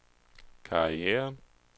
karriere